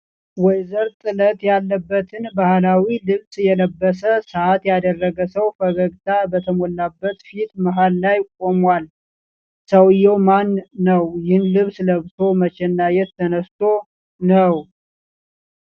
ወይዘር ጥለት ያለበትን ባህላዊ ልብስ የለበሰ፣ ሰዓት ያደረገ ሰው ፈገግታ በተሞላበት ፊት መሃል ላይ ቆሟል። ሰውየው ማን ነው? ይህን ልብስ ለብሶ መቼና የት ተነስቶ ነው?